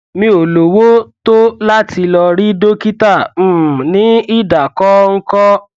mi ò lówó tó láti lọ rí dókítà um ní ìdákọńkọ